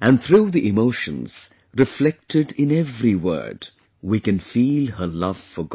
and through the emotions reflected in every word, we can feel her love for God